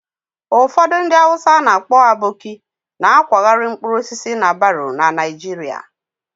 Ụfọdụ ndị Hausa a na-akpọ 'Aboki' na-akwagharị mkpụrụ osisi na baro na Naịjirịa